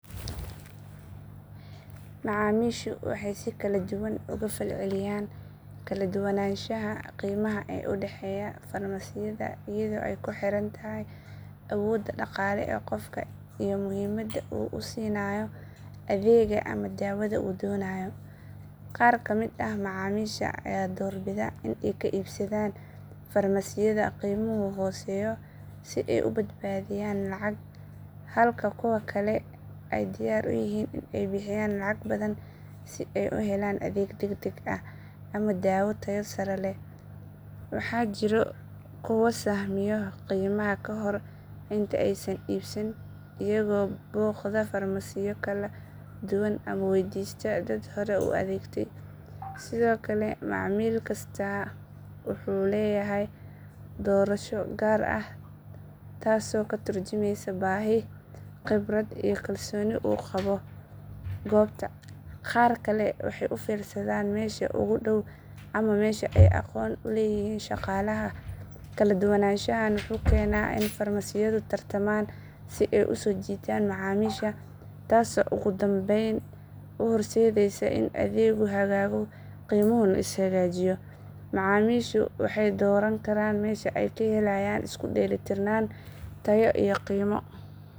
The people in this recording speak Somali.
Macamiishu waxay si kala duwan uga falceliyaan kala duwanaanshaha qiimaha ee u dhexeeya farmasiyada iyadoo ay ku xiran tahay awoodda dhaqaale ee qofka iyo muhiimadda uu siinayo adeegga ama daawada uu doonayo. Qaar ka mid ah macamiisha ayaa doorbida in ay ka iibsadaan farmasiyada qiimuhu hooseeyo si ay u badbaadiyaan lacag, halka kuwa kalena ay diyaar u yihiin in ay bixiyaan lacag badan si ay u helaan adeeg degdeg ah ama daawo tayo sare leh. Waxaa jira kuwa sahmiyo qiimaha ka hor inta aysan iibsan, iyagoo booqda farmasiyo kala duwan ama weydiista dad hore u adeegtay. Sidoo kale, macamiil kastaa wuxuu leeyahay doorasho gaar ah taasoo ka tarjumeysa baahi, khibrad iyo kalsooni uu u qabo goobta. Qaar kale waxay u fiirsadaan meesha ugu dhow ama meesha ay aqoon u leeyihiin shaqaalaha. Kala duwanaanshahan wuxuu keenaa in farmasiyadu tartamaan si ay u soo jiitaan macaamiisha, taasoo ugu dambayn u horseedaysa in adeeggu hagaago qiimahuna is hagaajiyo. Macamiishu waxay dooran karaan meesha ay ka helayaan isku dheelitirnaanta tayo iyo qiimo.